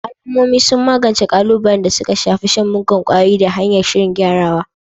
Al'ummomi sun magance ƙalubalen da suka shafi shan muggan ƙwayoyi ta hanyar shirin gyarawa